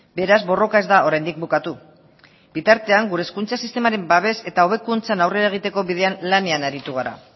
beraz borroka ez da oraindik bukatu bitartean gure hezkuntza sistemaren babes eta hobekuntzan aurrera egiteko bidean lanean aritu gara